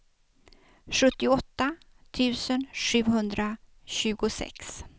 sjuttioåtta tusen sjuhundratjugosex